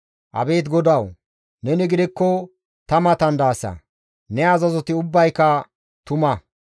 Abeet GODAWU! Neni gidikko ta matan daasa; ne azazoti ubbayka tuma.